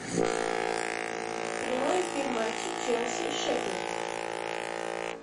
прямой эфир матча челси шеффилд